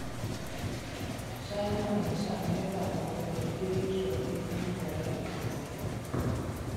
China onyiso Amerka mondo obed gi ritruok gi piny Korea ma Ugwe